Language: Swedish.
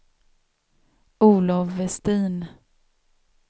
Olov Westin